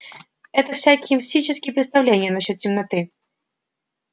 это всякие мистические представления насчёт темноты